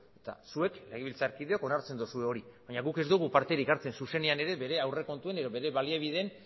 eta zuek legebiltzarkideok onartzen dozue hori baina guk ez dogu parterik hartzen zuzenean ere bere aurrekontuen edo bere baliabideen